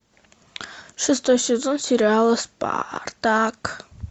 шестой сезон сериала спартак